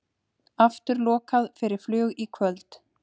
Aftur lokað fyrir flug í kvöld